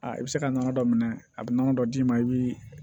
Aa i bɛ se ka nɔnɔ dɔ minɛ a bɛ nɔnɔ dɔ d'i ma i bɛ